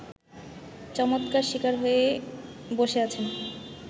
চমৎকার শিকার হয়ে বসে আছেন